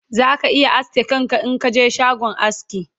za ka iya aske kanka Inka je shagon aski